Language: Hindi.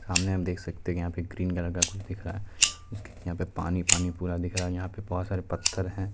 सामने आप देख सकते हैं यहाँ पे ग्रीन कलर का कुछ दिख रहा है यहाँ पर पानी-पानी पूरा दिख रहा है यहाँ पर बहत सारे पत्थर हैं ।